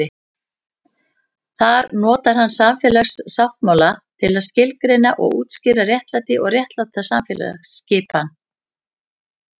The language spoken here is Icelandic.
Þar notar hann samfélagssáttmála til að skilgreina og útskýra réttlæti og réttláta samfélagsskipan.